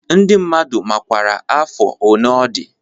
Ndị mmadụ makwara afọ one ọ dị